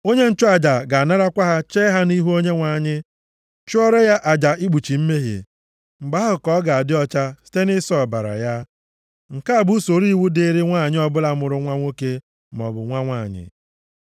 Onye nchụaja ga-anarakwa ha chee ha nʼihu Onyenwe anyị, chụọrọ ya aja ikpuchi mmehie. Mgbe ahụ ka ọ ga-adị ọcha site nʼịsọ ọbara ya. “ ‘Nke a bụ usoro iwu dịịrị nwanyị ọbụla mụrụ nwa nwoke, maọbụ nwa nwanyị.